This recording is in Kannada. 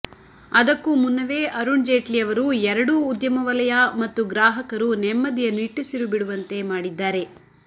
ಅದಕ್ಕೂ ಮುನ್ನವೇ ಅರುಣ್ ಜೇಟ್ಲಿ ಅವರು ಎರಡೂ ಉದ್ಯಮ ವಲಯ ಮತ್ತು ಗ್ರಾಹಕರು ನೆಮ್ಮದಿಯ ನಿಟ್ಟುಸಿರು ಬಿಡುವಂತೆ ಮಾಡಿದ್ದಾರೆ